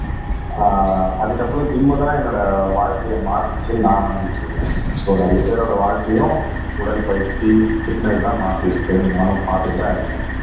ஆஹ் அதுக்கு அப்புறம் ஜிம் தான் என்னோட வாழ்க்கைய மாத்துச்சுன்னு நான் நம்பிட்டு இருக்கேன் சோ நிறைய பேரோட வாழ்க்கையும் உடல் பயிற்சி பிட்னெஸ் தான் மாத்தி இருக்குன்னு நானும் பார்த்துட்டுதான் இருக்கேன்